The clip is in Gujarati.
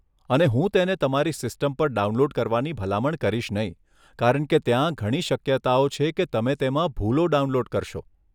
અને હું તેને તમારી સિસ્ટમ પર ડાઉનલોડ કરવાની ભલામણ કરીશ નહીં કારણ કે ત્યાં ઘણી શક્યતાઓ છે કે તમે તેમાં ભૂલો ડાઉનલોડ કરશો.